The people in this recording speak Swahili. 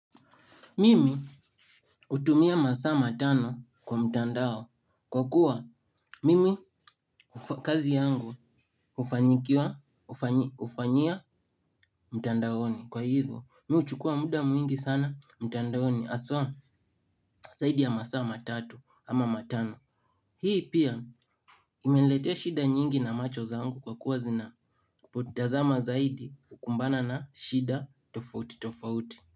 Mimi hutumia masaa matano kwa mtandao kwa kuwa mimi kazi yangu ufanyikiwa ufanyia mtandaoni kwa hivyo mi huchukua muda mwingi sana mtandaoni haswa saidi ya masaa matatu ama matano. Hii pia imeletea shida nyingi na macho zaangu kwa kuwa zinapotazama zaidi hukumbana na shida tofauti tofauti.